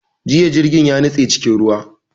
Jiya jirgin ya nitse cikin ruwa